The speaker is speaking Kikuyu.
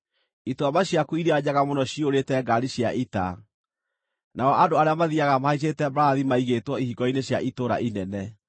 Ituamba ciaku iria njega mũno ciyũrĩte ngaari cia ita, nao andũ arĩa mathiiaga mahaicĩte mbarathi maigĩtwo ihingo-inĩ cia itũũra inene;